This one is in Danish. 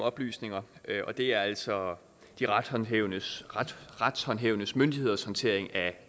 oplysninger og det er altså de retshåndhævende retshåndhævende myndigheders håndtering af